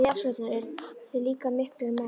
Ef þið biðjið afsökunar eruð þið líka miklir menn.